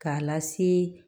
K'a lase